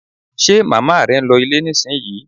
Ṣe màmá rẹ ń lọ ilé nísìnyí?